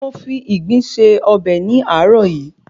Mo fi ìgbín se ọbẹ̀ ní àárọ̀ yìí